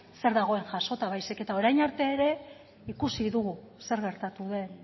zer dagoen jasota baizik eta orain arte ere ikusi dugu zer gertatu den